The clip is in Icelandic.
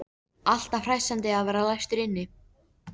Alltaf hressandi að vera læstur inni.